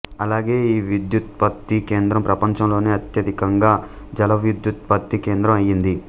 అలాగే ఈ విద్యుదుత్పత్తి కేంద్రం ప్రపంచంలోనే అత్యధికంగా జలవిద్యుదుత్పత్తి కేంద్రం అయింది